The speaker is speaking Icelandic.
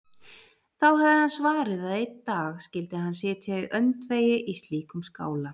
Þá hafði hann svarið að einn dag skyldi hann sitja í öndvegi í slíkum skála.